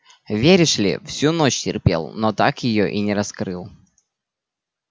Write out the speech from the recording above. веришь ли всю ночь терпел но так её и не раскрыл